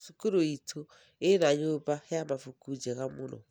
Cukuru itũ ĩrĩ na nyumba ya mabuku njega mũno